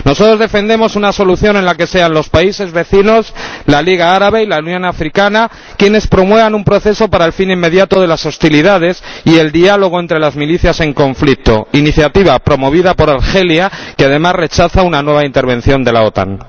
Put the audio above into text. Nosotros defendemos una solución en la que sean los países vecinos, la Liga Árabe y la Unión Africana quienes promuevan un proceso para el fin inmediato de las hostilidades y el diálogo entre las milicias en conflicto, iniciativa promovida por Argelia, que, además, rechaza una nueva intervención de la OTAN.